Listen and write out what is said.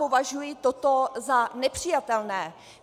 Považuji toto za nepřijatelné.